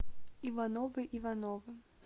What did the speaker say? ивановы ивановы